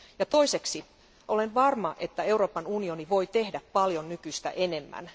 Toiseksi olen varma, että Euroopan unioni voi tehdä paljon nykyistä enemmän.